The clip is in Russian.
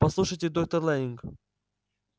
послушайте доктор лэннинг